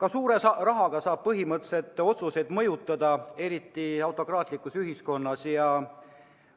Ka suure rahaga saab põhimõtteliselt otsuseid mõjutada, eriti autokraatlikus ühiskonnas